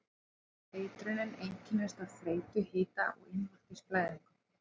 Eitrunin einkennist af þreytu, hita og innvortis blæðingum.